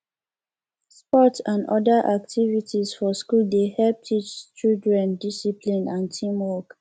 sports n other activities for school dey help teach children discipline and teamwork